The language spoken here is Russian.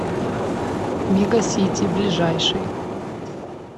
мегасити ближайший